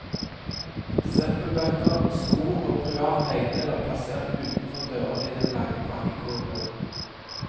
Søppelbøtter, sko og private eiendeler plassert utenfor dørene i den lange brakkekorridoren.